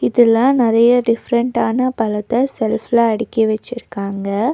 இதுல நெரையா டிஃப்ரண்டான பழத்த ஷெல்ஃப்ல அடுக்கி வெச்சிருக்காங்க.